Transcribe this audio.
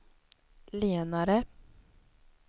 lenare